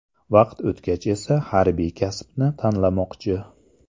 Vaqt o‘tgach esa harbiy kasbni tanlamoqchi.